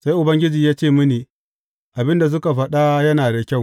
Sai Ubangiji ya ce mini, Abin da suka faɗa yana da kyau.